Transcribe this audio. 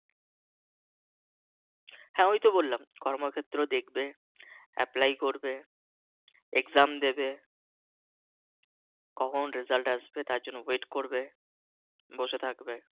হ্যাঁ ওই তো বললাম কর্মক্ষেত্র দেখবে Apply করবে Exam দেবে কখন Result আসবে তার জন্য Wait করবে বসে থাকবে